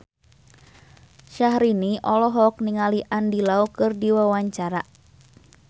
Syahrini olohok ningali Andy Lau keur diwawancara